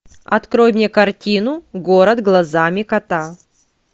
открой мне картину город глазами кота